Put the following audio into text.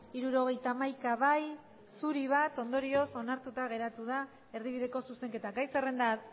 hirurogeita hamaika bai bat zuri ondorioz onartuta geratu da erdibideko zuzenketa gai zerrenda